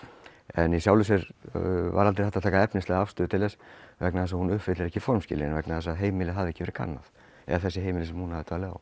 en í sjálfu sér var aldrei hægt að taka efnislega afstöðu til þess vegna þess að hún uppfyllir ekki formskilyrðin vegna þess að heimilið hafði ekki verið kannað eða þessi heimili sem hún hafði dvalið á